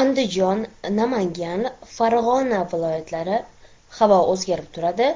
Andijon, Namangan, Farg‘ona viloyatlari Havo o‘zgarib turadi,